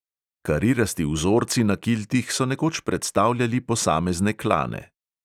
Karirasti vzorci na kiltih so nekoč predstavljali posamezne klane.